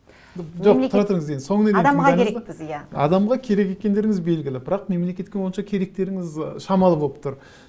жоқ тұра тұрыңыз енді соңына дейін адамға керек екендеріңіз белгілі бірақ мемлекетке онша керектеріңіз шамалы болып тұр